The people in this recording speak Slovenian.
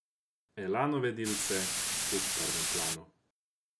Elanove dilce v prvem planu!